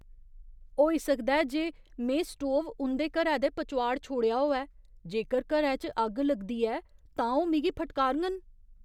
होई सकदा ऐ जे में स्टोव उं'दे घरै दे पचोआड़ छोड़ेआ होऐ। जेकर घरै च अग्ग लगदी ऐ तां ओह् मिगी फटकारङन।